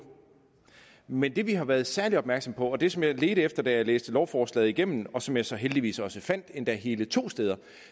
men det vi har været særlig opmærksomme på og det som jeg ledte efter da jeg læste lovforslaget igennem og som jeg så heldigvis også fandt endda hele to steder